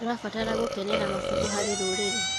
Tũrabatara gũkenera mabuku harĩ rũrĩrĩ.